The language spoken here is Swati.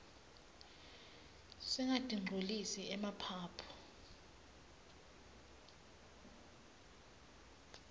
singatinqcolisi emaphaphu